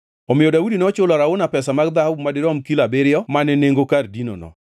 Omiyo Daudi nochulo Arauna pesa mag dhahabu ma dirom kilo abiriyo mane nengo kar dinono.